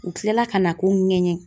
U kilala ka na ko ŋɛɲɛ.